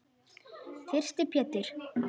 Þyrsti Pétur.